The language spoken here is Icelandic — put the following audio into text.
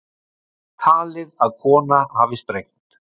Talið að kona hafi sprengt